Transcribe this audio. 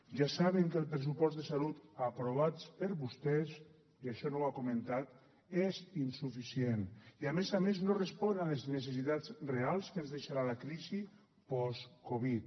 ja saben que el pressupost de salut aprovat per vostès i això no ho ha comentat és insuficient i a més a més no respon a les necessitats reals que ens deixarà la crisi post covid